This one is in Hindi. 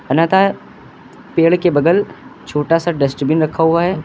पेड़ के बगल छोटा सा डस्टबीन रखा हुआ है।